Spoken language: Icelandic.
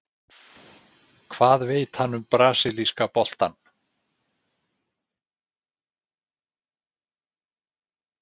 Hvað veit hann um brasilíska boltann?